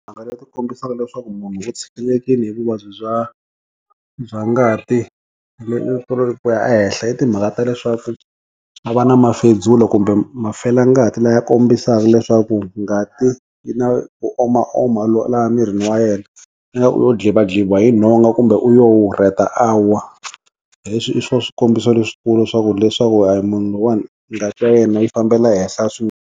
Mhaka ya ku kombisa leswaku munhu u tshikelekile hi vuvabyi bya bya ngati ku ya henhla i timhaka ta leswaku a va na mafedzula kumbe mafelangati laya kombisaka leswaku ngati yi na ku omaoma laha emirini wa yena ingaku u lo dlivadliviwa hi nhonga kumbe u yo rheta a wa hi swo swikombiso leswikulu swa ku leswaku hayi munhu loyiwani ngati ya yena yi fambela henhla .